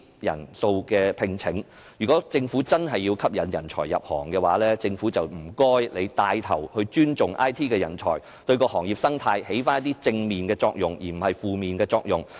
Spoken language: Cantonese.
如果政府真的要吸引人才入行，請它牽頭尊重 IT 人才，對行業生態發揮一些正面的作用，而不是負面作用。